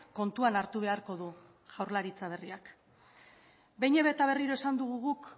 kontuan hartu beharko du jaurlaritza berriak behin eta berriro esan dugu guk